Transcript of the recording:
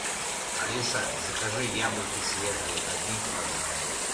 алиса закажи яблоки свежие один килограмм